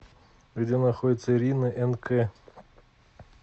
где находится ирина энд кэ